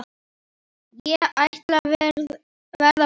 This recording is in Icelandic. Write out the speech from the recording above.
Ég ætla að verða bóndi